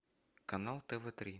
канал тв три